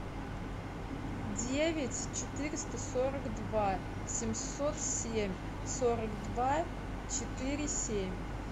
девять четыреста сорок два семьсот семь сорок два четыре семь